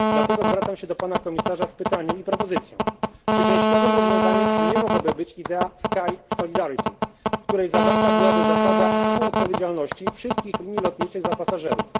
Dlatego zwracam się do pana komisarza z pytaniem i propozycją czy częściowym rozwiązaniem nie mogłaby być idea sky solidarity w której zawarta byłaby zasada współodpowiedzialności wszystkich linii lotniczych za pasażerów?